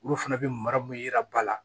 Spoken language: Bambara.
Olu fana bɛ mara mun yira ba la